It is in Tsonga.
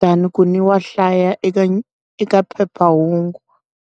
than ku ndzi wa hlaya eka eka phephahungu.